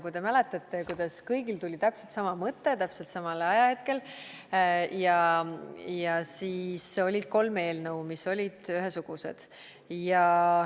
Kui te mäletate, siis kõigil tuli täpselt sama mõte täpselt samal ajahetkel ja siis olid kolm eelnõu, mis olid ühesugused.